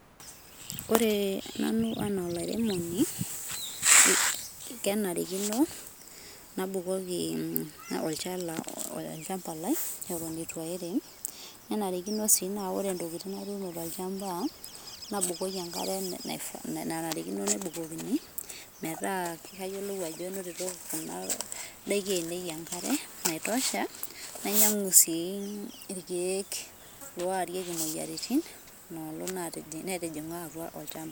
ore nanu ena olairemoni kenarikino, nabukoki olchala olchamba lai eton etu airem, nenarikino si na ore ntokitin natuno tolchamba nabukoki enkare nanarikino nebukokini, meeta kayiolou ajo enotitoto kuna daiki ainei enkare naitosha, nainyiangu si ilkek orieki imoyiaritin, tenetijinga atua olchamba.